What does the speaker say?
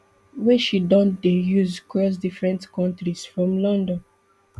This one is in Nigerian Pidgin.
wey she don dey use cross different kontris from london